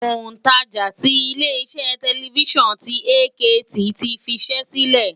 Òǹtajà tí ilé iṣẹ́ tẹlifísàn ti AKT ti fiṣẹ́ sílẹ̀